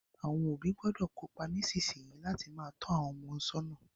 Àwon òbí gbọ́dọ̀ kópa nísinsìn yìí láti má to àwon ọmọ sọ́nà